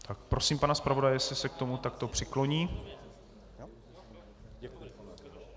Tak prosím pana zpravodaje, jestli se k tomu takto přikloní.